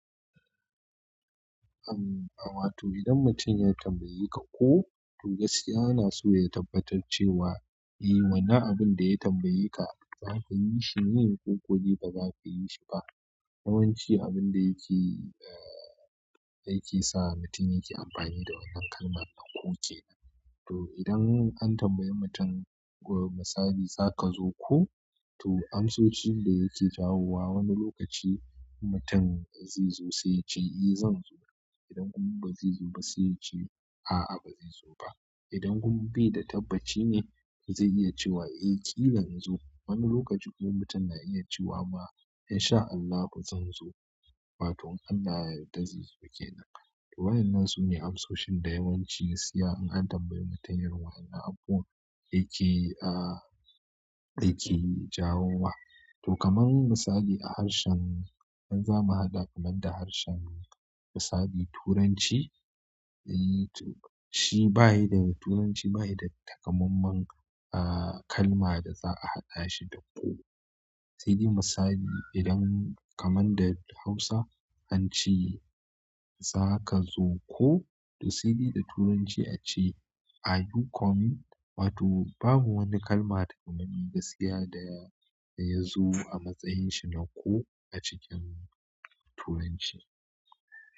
Am, a wato idan mutum ya tambaye ka ko, to gaskiya ana so ya tabbatar cewa, eh wannan abin da ya tambaye ka zaka yi shi ne, ko ko dai ba zaka ka yi shi ba. Yawanci abin da yake, eh, yake sa mutum yake amfani da wannan kalma nan ko kenan. To idan an tambaye mutum, misali, "Za ka zo ko?" To amsoshin da yake jawowa wani lokaci inmutum zai zo sai yace eh zan zo. Idan kuma ba zai zo ba sai ya ce, "A'a ba zai zo ba." Idan kuma bai da tabbaci ne zai iya cewa, "Eh ƙila in zo." Wani lokaci kuma mutum na iya cewa, "ma, in sha Allahu zan zo." Wato in Allah ya yadda zai zo kenan. To waɗannan su ne amsoshin da yawanci gasksiya in an tambayi mutum irin waƴannan abuwan yake, ah, yake jawowa. To kaman misali a harshen in za mu haɗa kaman da harshen misali turanci, shi bayi da, turanci bayi da takamammen kalma da za a haɗa shi da ko. Sai dai misali idan kamar da Hausa an ce, "Za ka zo ko?" To sai dai da Turanci a ce, "Are you coming?" Wato babu wani kalma takamemme gaskiya da ya, da ya zo a matsayin shi na ko a cikin Turanci.